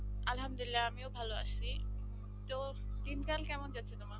আলহামদুলিল্লাহ আমিও ভালো আছি তো দিনকাল কেমন যাচ্ছে তোমার